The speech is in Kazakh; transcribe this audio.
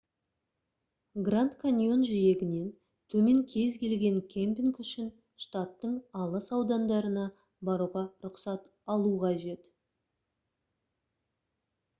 гранд каньон жиегінен төмен кез келген кемпинг үшін штаттың алыс аудандарына баруға рұқсат алу қажет